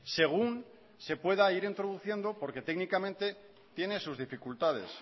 según se pueda ir introduciendo porque técnicamente tiene sus dificultades